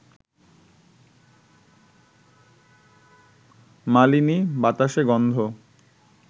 মালিনী, বাতাসে গন্ধ